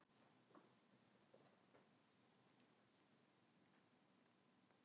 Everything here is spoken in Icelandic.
Það er úrkomulaust.